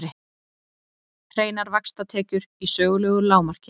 Hreinar vaxtatekjur í sögulegu lágmarki